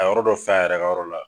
A ye yɔrɔ dɔ fa a yɛrɛ ka yɔrɔ la